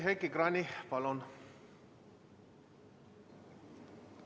Heiki Kranich, palun!